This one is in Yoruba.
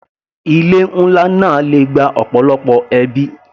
Ilé nlá náà le gba ọ̀pọ̀lọpọ̀ ẹbí.